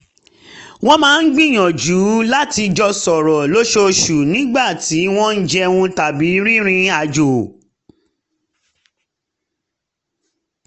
wọ́n máa ń gbìyànjú láti jọ sọ̀rọ̀ lóṣooṣù nígbà tí wọ́n jẹun tàbí rìnrìn àjò